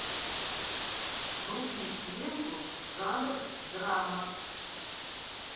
вруби ленту жанр драма